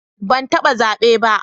Ban taba zabe ba.